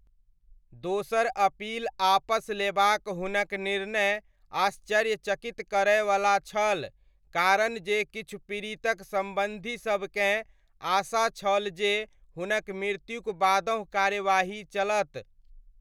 दोसर अपील आपस लेबाक हुनक निर्णय आश्चर्यचकित करयवला छल, कारण जे किछु पीड़ितक सम्बन्धीसबकेँ आशा छल जे हुनक मृत्युक बादहुँ कार्यवाही चलत।